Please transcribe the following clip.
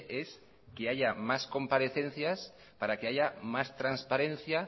es que haya más comparecencias para que haya más transparencia